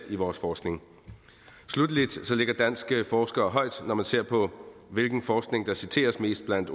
i vores forskning sluttelig ligger danske forskere højt når man ser på hvilken forskning der citeres mest blandt